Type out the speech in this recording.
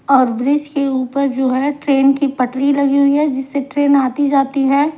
और ब्रिज के ऊपर जो है ट्रेन की पटरी लगी हुई है जिससे ट्रेन आती जाती है ।